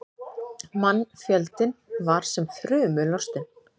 Mannfjöldinn var sem þrumu lostinn.